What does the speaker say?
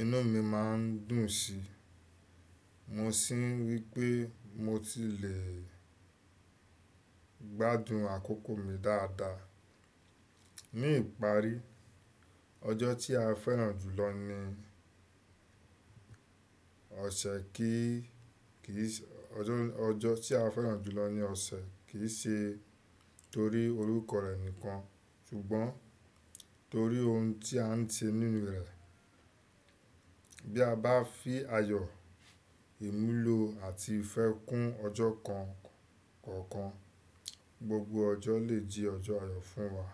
inú mi má ń dùn sí i, mo sì ń rí i pé mo ti le gbádùn àkókò mi dáadáa. Ní ìparí, ọjọ́ tí a fẹ́ràn jù lọ ni ọ̀sẹ̀ kì í, kì í ṣe, ọjọ́, ọjọ́ tí a fẹ́ràn jù lọ ní ọ̀sẹ̀ kì í ṣe torí orúkọ rẹ̀ nìkan ṣùgbọ́n torí ohun tí a ń ṣe nínú rẹ̀. Bí a bá fi ayọ̀, ìmùlò àti ìfẹ́ kún ọjọ́ kan kọ̀ọ̀kan, gbogbo ọjọ́ lè jẹ́ ọjọ́ ayọ̀ fún wa.